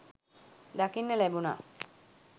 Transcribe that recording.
දකින්න ලැබුණා.